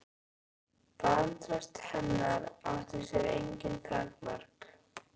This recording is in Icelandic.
Vantraust hennar átti sér engin takmörk.